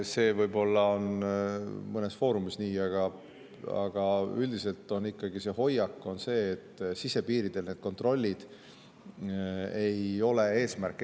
See on võib-olla mõnes foorumis nii, aga üldiselt on ikkagi selline hoiak, et sisepiiridel ei ole need kontrollid eesmärk.